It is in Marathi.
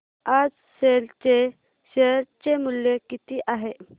आज सेल चे शेअर चे मूल्य किती आहे